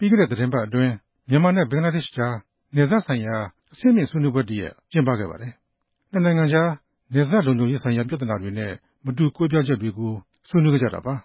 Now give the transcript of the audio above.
ြီးခဲ့တဲ့ သီတင်းပတ်အတွင်း မြန်မာနဲ့ ဘင်္ဂလားဒေ့ရှ်ကြား နယ်စပ်ဆိုင်ရာ အဆင့်မြင့်ဆွေးနွေးပွဲတရပ် ကျင်းပခဲ့ပါတယ်။ နှစ်နိုင်ငံကြား နယ်စပ်လုံခြုံရေးဆိုင်ရာ ပြဿနာတွေနဲ့ မတူကွဲပြားချက်တွေကို ဆွေးနွေးခဲ့ကြတာပါ